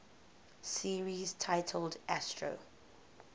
series titled astro